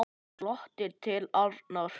Hann glotti til Arnar.